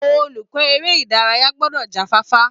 Olùkọ́ èrè ìdárayá gbọ́dọ̀ já fáfá